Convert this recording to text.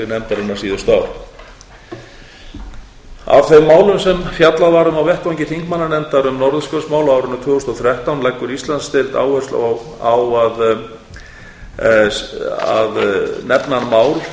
nefndarinnar síðustu ár af þeim málum sem fjallað var um á vettvangi þingmannanefndar um norðurskautsmál á árinu tvö þúsund og þrettán leggur íslandsdeild áherslu á að nefna mál sem snúa til